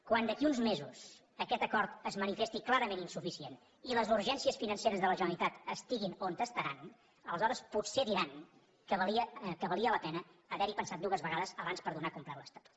quan d’aquí a uns mesos aquest acord es manifesti clarament insuficient i les urgències financeres de la generalitat estiguin on estaran aleshores potser diran que valia la pena haver hi pensat dues vegades abans per donar per complert l’estatut